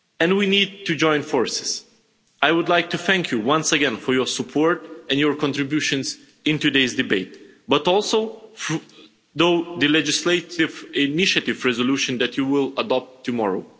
We need to join forces. I would like to thank you once again for your support and your contributions in today's debate, but also for the legislative initiative resolution that you will adopt tomorrow.